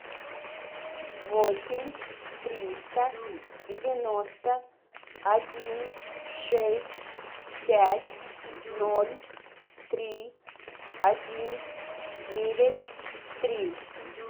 восемь триста девяносто один шесть пять ноль три один девять три